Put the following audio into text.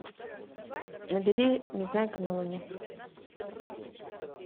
набери незнайка на луне